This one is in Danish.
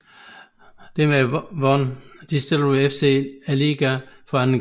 Dermed vandt Distillery FC ligaen for anden gang